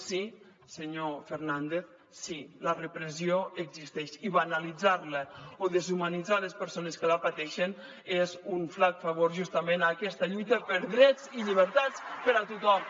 sí senyor fernández sí la repressió existeix i banalitzar la o deshumanitzar les persones que la pateixen és un flac favor justament a aquesta lluita per drets i llibertats per a tothom